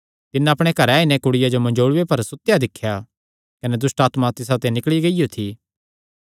तिन्नै अपणे घरे आई नैं कुड़िया जो मंजोल़ूये पर सुतेया दिख्या कने दुष्टआत्मा तिसाते निकल़ी गियो थी